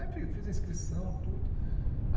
Aí eu fiz fiz a inscrição, tudo.